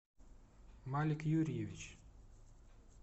малик юрьевич